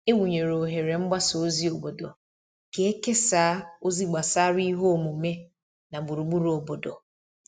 E wụnyere oghere mgbasa ozi obodo ka e kesaa ozi gbasara ihe omume na gburugburu obodo.